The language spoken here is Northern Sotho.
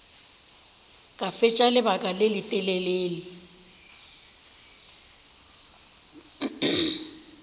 ka fetša lebaka le letelele